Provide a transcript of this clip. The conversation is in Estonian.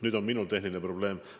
Nüüd on mul tehniline probleem.